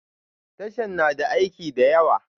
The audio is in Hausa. Tashan na da aiki da yawa